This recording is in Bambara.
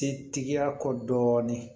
Setigiya kɔ dɔɔnin